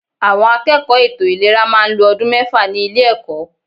Àwọn akẹ́kọ̀ọ́ ètò ìlera máa ń lo ọdún mẹ́fà ní ilé ẹ̀kọ́.